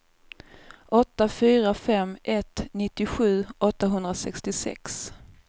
åtta fyra fem ett nittiosju åttahundrasextiosex